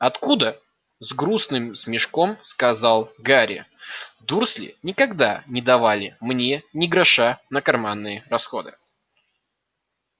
откуда с грустным смешком сказал гарри дурсли никогда не давали мне ни гроша на карманные расходы